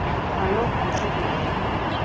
Að lokum sofnaði ég.